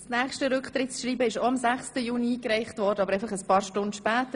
Das nächste Rücktrittsschreiben wurde auch am 6. Juni eingereicht, aber ein paar Stunden später.